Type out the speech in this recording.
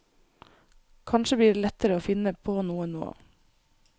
Kanskje blir det lettere å finne på noe nå.